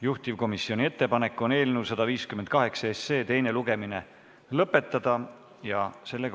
Juhtivkomisjoni ettepanek on eelnõu 158 teine lugemine lõpetada.